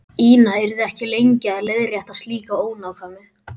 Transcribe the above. Ína yrði ekki lengi að leiðrétta slíka ónákvæmni.